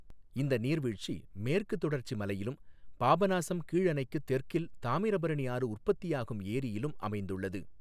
இந்த நீர்வீழ்ச்சி மேற்குத் தொடர்ச்சி மலையிலும் பாபநாசம் கீழணைக்குத் தெற்கில் தாமிரபரணி ஆறு உற்பத்தியாகும் ஏரியிலும் அமைந்துள்ளது.